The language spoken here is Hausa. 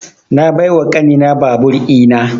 Na bai wa ƙani na babur ina